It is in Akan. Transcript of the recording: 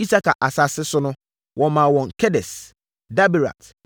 Isakar asase so nso, wɔmaa wɔn Kedes, Daberat,